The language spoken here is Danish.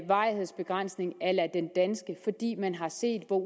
varighedsbegrænsning a la den danske fordi man har set hvor